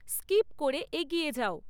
skip করে এগিয়ে যাও